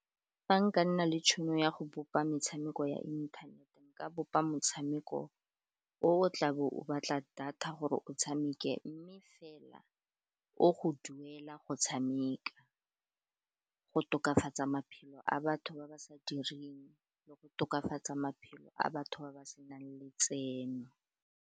Fa nka nna le tšhono ya go bopa metshameko ya inthanete, nka bopa motshameko o tlabo o batla data gore o tshameke, mme fela o go duela go tshameka, go tokafatsaa maphelo a batho ba ba sa direng le go tokafatsaa maphelo a batho ba ba senang letseno.